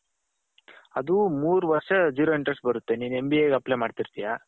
ಅದು ಮೂರು ವರ್ಷ zero interest ಬರುತ್ತೆ ನೀನು MBAಗೆ apply ಮಡ್ತಿರ್ತ್ಯ